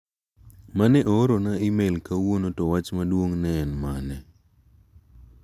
Mane oorona imel kawuono to wwach maduong' ne en mane?